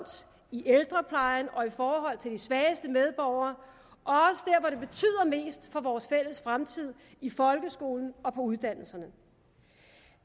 i ældreplejen og i forhold til de svageste medborgere og mest for vores fælles fremtid i folkeskolen og på uddannelserne